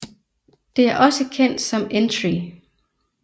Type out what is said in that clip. Det er også kendt som Entree